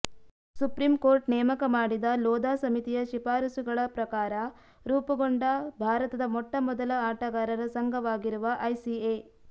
supreme court ನೇಮಕ ಮಾಡಿದ ಲೋಧಾ ಸಮಿತಿಯ ಶಿಫಾರಸುಗಳ ಪ್ರಕಾರ ರೂಪುಗೊಂಡ ಭಾರತದ ಮೊಟ್ಟಮೊದಲ ಆಟಗಾರರ ಸಂಘವಾಗಿರುವ ಐಸಿಎ